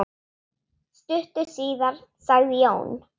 Stuttu síðar sagði Jón